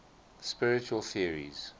spiritual theories